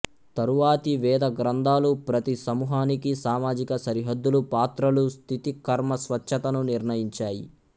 తరువాతి వేద గ్రంథాలు ప్రతి సమూహానికి సామాజిక సరిహద్దులు పాత్రలు స్థితి కర్మ స్వచ్ఛతను నిర్ణయించాయి